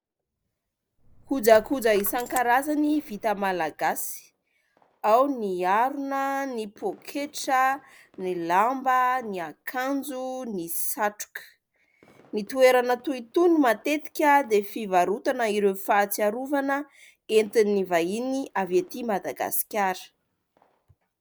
Kojakoja isankarazany vita malagasy ao ny harona, ny poketra, ny lamba, ny akanjo, ny satroka. Ny toerana toy itony matetika dia fivarotana ireo fahatsiarovana entin'ny vahiny avy ety Madagasikara.